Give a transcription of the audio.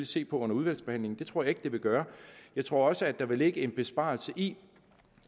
se på under udvalgsbehandlingen det tror jeg ikke det vil gøre jeg tror også at der vil ligge en besparelse i